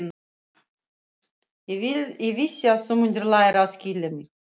Ég vissi að þú mundir læra að skilja mig.